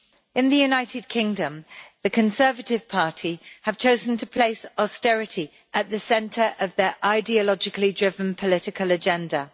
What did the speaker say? In the United Kingdom, the Conservative Party has chosen to place austerity at the centre of its ideologically driven political agenda.